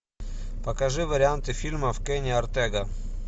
покажи варианты фильмов кенни ортега